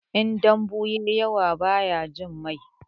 In dambu ya yi yawa bai jin mai.